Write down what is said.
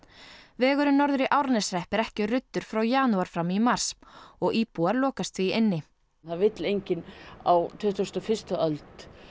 vegurinn norður í Árneshrepp er ekki ruddur frá janúar fram í mars og íbúar lokast því inni það vill enginn á tuttugustu og fyrstu öld